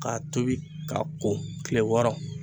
Ka tobi ka ko kile wɔɔrɔ